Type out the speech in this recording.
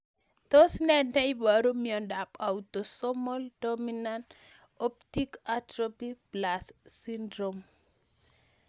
Tos nee neiparu miondop Autosomal dominant optic atrophy plus syndrome